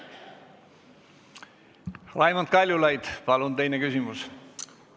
Raimond Kaljulaid, palun teine küsimus!